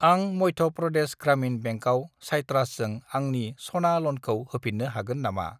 आं मध्य प्रदेश ग्रामिन बेंकआव साइट्रासजों आंनि सना ल'नखौ होफिन्नो हागोन नामा?